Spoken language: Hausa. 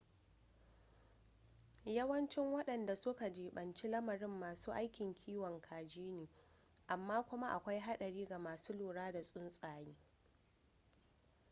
yawancin wadanda su ka jibanci lamarin masu aikin kiwon kaji ne amma kuma akwai hadari ga masu lura da tsuntsaye